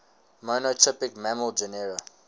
monotypic mammal genera